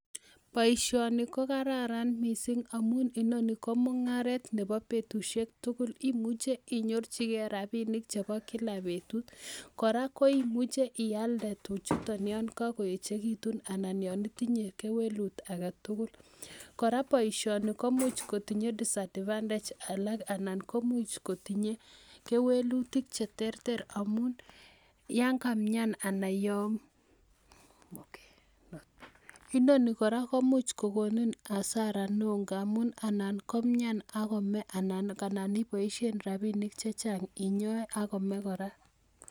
Baishoni kokararan mising amun inoni komungaret Nebo betushektugul imuche inyorchi gei rabinik chebo kila bebtut koraa koimuchi iyalde tuchuton yangaechekitun anan yanitinye kewelut agetugul, koraa baishoni komuch kotinye disadvantages alak anan koimuche kotinye kewelutik cheterter amun yangamian anan Yananan konee ibaishen rabinik chechang inyae akomee koraa